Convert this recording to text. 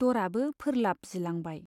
दरआबो फोर्लाब जिलांबाय।